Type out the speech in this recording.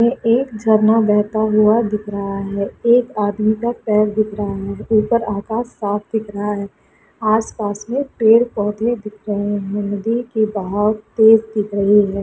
एक झरना बेहता हुआ दिख रहा है एक आदमी का पैर दिख रहा है ऊपर आकाश साफ दिख रहा है आस-पास में पेड़-पौधे दिख रहे है नदी के बहाव तेज दिख रहे है।